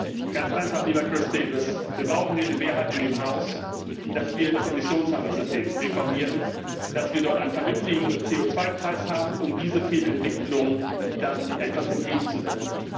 Ganz einfach, lieber Chris Davies Wir brauchen hier im Haus eine Mehrheit dafür, dass wir das Emissionshandelssystem reformieren, dass wir dort einen vernünftigen CO Preis haben, um dieser Fehlentwicklung dann etwas entgegenzusetzen.